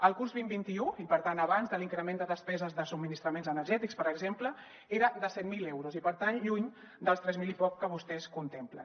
al curs vint vint un i per tant abans de l’increment de despeses de subministraments energètics per exemple era de set mil euros i per tant lluny dels tres mil i poc que vostès contemplen